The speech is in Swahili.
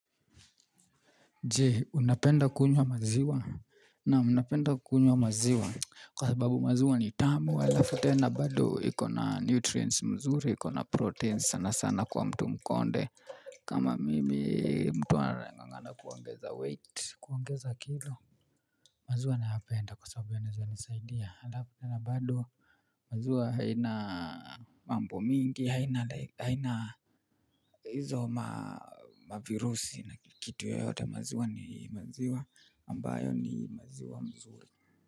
Je, unapenda kunywa maziwa? Naam, napenda kunywa maziwa. Kwa sababu maziwa ni tamu, alafu tena bado iko na nutrients mzuri, iko na proteins sana sana kwa mtu mkonde. Kama mimi, mtu anaeng'ang'ana kuongeza weight, kuongeza kilo. Maziwa nayapenda kwasababu yanaweza nisaidia alafu tena bado maziwa haina mambo mingi haina hizo ma ma virusi na kitu yoyote maziwa ni maziwa ambayo ni maziwa mzuri.